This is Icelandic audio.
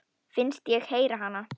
Finnst ég heyra hana.